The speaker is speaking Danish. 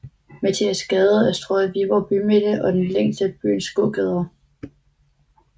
Mathias Gade er strøget i Viborg bymidte og den længste af byens gågader